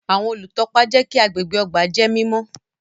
Awọn olutọpa jẹ kí agbègbè ọgbà jẹ mímọ